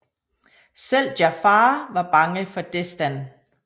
Selv Jafar var bange for Destan